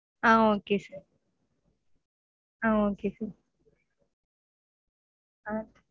ah okay sir ah okay sir ah